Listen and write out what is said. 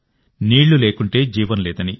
నీళ్లు లేకుంటే జీవం లేదని